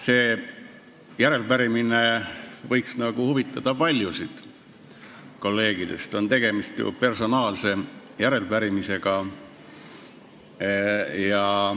See järelepärimine võiks huvitada paljusid kolleege, tegemist on ju personaalse järelepärimisega.